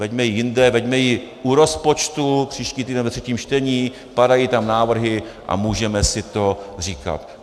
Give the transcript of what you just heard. Veďme ji jinde, veďme ji u rozpočtu příští týden ve třetím čtení, padají tam návrhy a můžeme si to říkat.